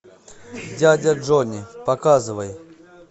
дядя джонни показывай